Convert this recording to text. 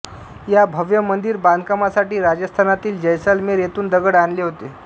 या भव्य मंदिर बांधकामासाठी राजस्थानातील जैसलमेर येथून दगड आणले होते